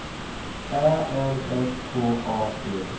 Ä L S K A D